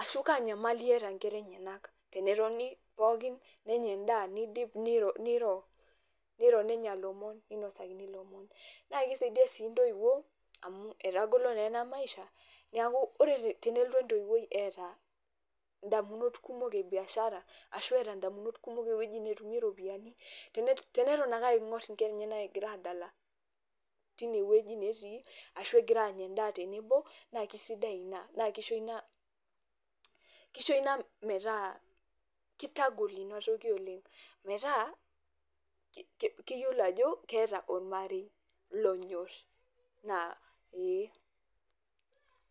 ashu kaa nyamali eeta nkera enyetak tenetoni pookin nenya endaa, nidip niro nenya lomon ninosakini lomon. Naa kisaidia sii ntoiwuo amu etagolo naa ena maisha, neeku ore tenelotu entoiwuoi eeta ndamunot kumok e biashara ashu eeta ndamunot kumok ewoji netumie ropiani, teneton ake aing'or nkera enyenak egira aadala tine wueji netii ashu egira aanya endaa tenebo naake sidai ina, naake isho ina kisho ina metaa kitagol inatoki oleng' metaa ke keyolo ajo keeta ormarei lonyor na ee.